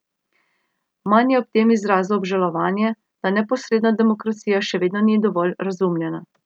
Man je ob tem izrazil obžalovanje, da neposredna demokracija še vedno ni dovolj razumljena.